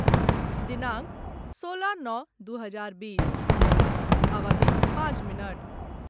दिनांक सोलह नओ दू हजार बीस, अवधि पाँच मिनट